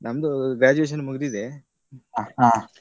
ನಮ್ದು graduation ಮುಗ್ದಿದೆ, .